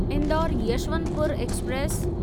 Indore Yesvantpur express